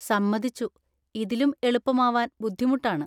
സമ്മതിച്ചു! ഇതിലും എളുപ്പമാവാന്‍ ബുദ്ധിമുട്ടാണ്.